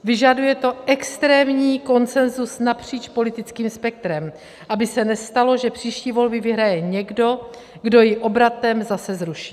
Vyžaduje to extrémní konsenzus napříč politickým spektrem, aby se nestalo, že příští volby vyhraje někdo, kdo ji obratem zase zruší.